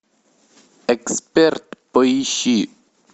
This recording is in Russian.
эксперт поищи